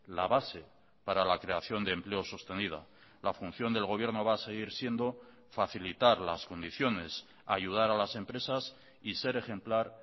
la base para la creación de empleo sostenida la función del gobierno va a seguir siendo facilitar las condiciones ayudar a las empresas y ser ejemplar